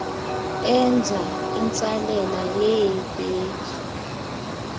enza intsalela yeeveki